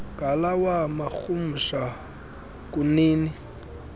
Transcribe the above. ngalawa marhumsha kunini